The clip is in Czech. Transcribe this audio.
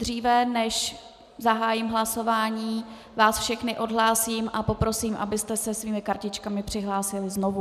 Dříve než zahájím hlasování, vás všechny odhlásím a poprosím, abyste se svými kartičkami přihlásili znovu.